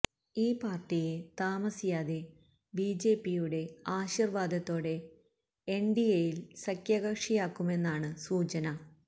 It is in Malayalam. ഈ പാര്ട്ടിയെ താമസിയാതെ ബിജെപിയുടെ ആശീര്വാദത്തോടെ എന് ഡി എയില് സഖ്യകക്ഷിയാക്കുമെന്നാണ് സൂചന